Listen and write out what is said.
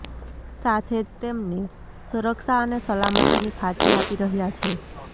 સાથે જ તેમને સુરક્ષા અને સલામતની ખાતરી આપી રહ્યા છે